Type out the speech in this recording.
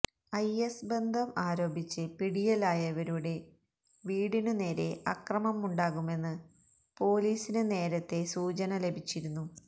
is ബന്ധം ആരോപിച്ച് പിടിയിലായവരുടെ വീടിനുനേരെ അക്രമമുണ്ടാകുമെന്ന് പോലീസിന് നേരത്തെ സൂചന ലഭിച്ചിരുന്നു